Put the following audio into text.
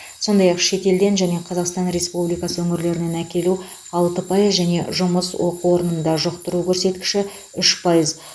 сондай ақ шетелден және қазақстан республикасы өңірлерінен әкелу алты пайыз және жұмыс оқу орнында жұқтыру көрсеткіші үш пайыз